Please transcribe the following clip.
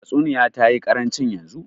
Tatsuniya tayi karancin yanzu.